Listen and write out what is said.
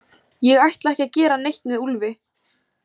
Ég ætla ekki að gera neitt með Úlfi.